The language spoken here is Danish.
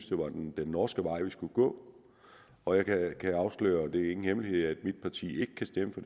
det var den norske vej vi skulle gå og jeg kan afsløre at det ikke hemmelighed at mit parti ikke kan stemme for